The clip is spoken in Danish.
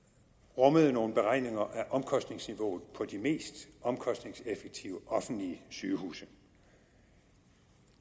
rummede nogle beregninger af omkostningsniveauet på de mest omkostningseffektive offentlige sygehuse